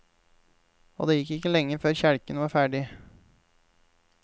Og det gikk ikke lenge før kjelken var ferdig.